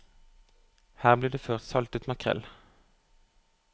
Her ble det før saltet makrell.